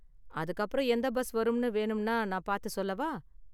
அதுக்கு அப்புறம் எந்த பஸ் வரும்னு வேணும்னா நான் பார்த்து சொல்லவா?